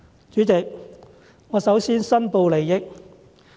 主席，我首先申報利益。